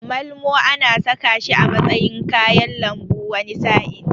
Malmo ana saka shi a matsayin kayan lambu wani sa'in.